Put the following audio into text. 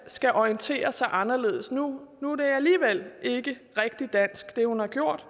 skal orientere sig anderledes nu er det hun har gjort